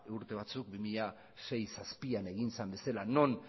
urte batzuk bi mila sei bi mila zazpian egin zen bezala non